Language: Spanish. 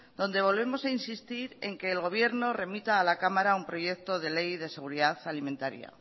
donde volvemos a insistir en que el gobierno remita a la cámara un proyecto de ley de seguridad alimentaria